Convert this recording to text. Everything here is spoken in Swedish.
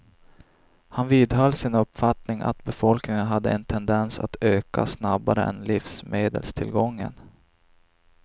Han vidhöll sin uppfattning att befolkningen hade en tendens att öka snabbare än livsmedelstillgången.